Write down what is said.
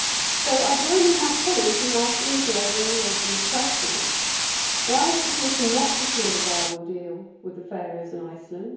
So I join my colleagues in asking the glaringly obvious questions why has the Commission not secured a viable deal with the Faroes and Iceland?